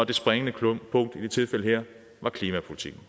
det springende punkt i det tilfælde her var klimapolitikken